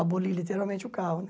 Aboli literalmente o carro